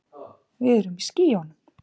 Við erum í skýjunum.